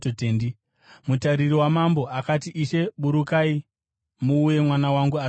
Mutariri wamambo akati, “Ishe, burukai muuye mwana wangu asati afa.”